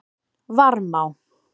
Varmá